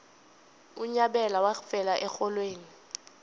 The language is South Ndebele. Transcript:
unyabela wafela erholweni